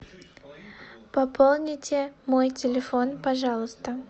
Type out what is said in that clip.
пополните мой телефон пожалуйста